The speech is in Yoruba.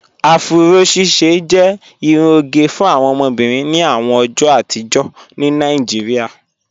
Afúró ṣíṣẹ jẹ irún ogẹ fún awọn obìnrin ní àwọn ọjọ́ àtìjọ̀ ní Naijíríà